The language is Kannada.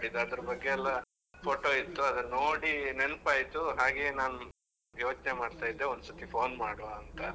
ಅದ್ರ ಬಗ್ಗೆ ಎಲ್ಲ photo ಇತ್ತು ನೋಡಿ ನೆನಪಾಯ್ತು ಹಾಗೆ ನಾನ್, ಯೋಚ್ನೆ ಮಾಡ್ತಾ ಇದ್ದೆ ಒಂದ್ ಸತಿ phone ಮಾಡುವ ಅಂತ.